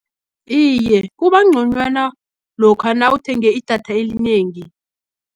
Iye, kubangconywana, lokha nawuthenge idatha elinengi.